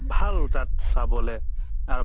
ভাল তাত চাবলে আৰু